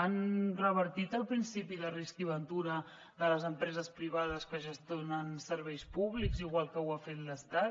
han revertit el principi de risc i ventura de les empreses privades que gestionen serveis públics igual que ho ha fet l’estat